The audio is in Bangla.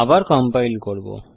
আবার কম্পাইল করব